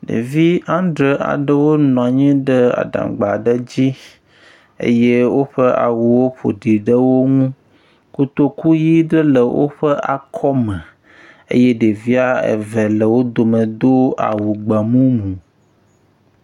Ɖevi andre aɖewo nɔ anyi ɖe adaŋgba aɖe dzi eye woƒe awuwo ƒoɖi ɖe wo ŋu. Kotoku ʋi ɖe le woƒe akɔme eye ɖevia eve le wo dome do awu gbemumu.